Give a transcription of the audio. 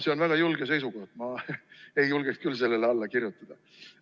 See on väga julge seisukoht, ma ei julgeks küll sellele alla kirjutada.